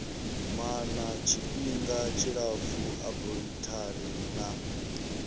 maana tshifhinga tshilapfu aborithari na